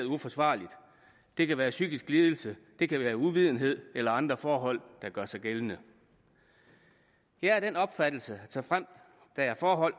uforsvarligt det kan være en psykisk lidelse det kan være uvidenhed eller andre forhold der gør sig gældende jeg er af den opfattelse at såfremt der er forhold